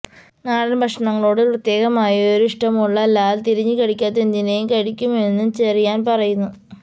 നാടന് ഭക്ഷണങ്ങളോട് പ്രത്യേകമായൊരു ഇഷ്ടമുള്ള ലാല് തിരിഞ്ഞ് കടിക്കാത്തതെന്തിനേയും കഴിക്കുമെന്നും ചെറിയാന് പറയുന്നു